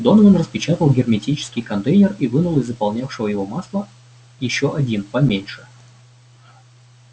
донован распечатал герметический контейнер и вынул из заполнявшего его масла ещё один поменьше